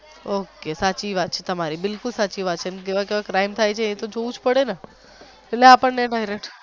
ok સાચી વાત છે તમારી બિલકુલ સાચી વાત છે જેવા જેવા crime થાય છે એ તો જોવું જ પડે અને એટલે અપડાને.